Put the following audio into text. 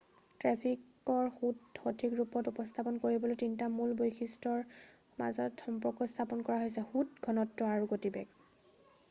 ট্ৰেফিকৰ সোঁত সঠিক ৰূপত উপস্থাপন কৰিবলৈ তিনিটা মূল বৈশিষ্ট্য়ৰ মাজত সম্পৰ্ক স্থাপন কৰা হৈছে: ১ সোঁত ২ ঘনত্ব আৰু ৩ গতিবেগ।